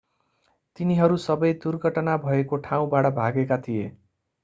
तिनीहरू सबै दुर्घटना भएको ठाउँबाट भागेका थिए